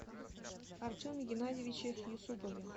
артеме геннадьевиче юсупове